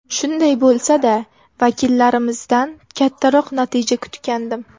Shunday bo‘lsa-da, vakillarimizdan kattaroq natija kutgandim.